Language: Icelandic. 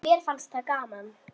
En mér fannst það gaman.